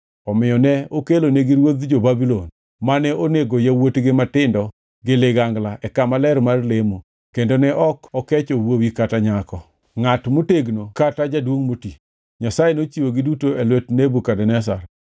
Omiyo ne okelonigi ruodh jo-Babulon mane onego yawuotgi matindo gi ligangla e kama ler mar lemo kendo ne ok okecho wuowi kata nyako, ngʼat motegno kata jaduongʼ moti. Nyasaye nochiwogi duto e lwet Nebukadneza.